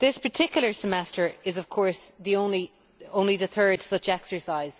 This particular Semester is, of course, only the third such exercise.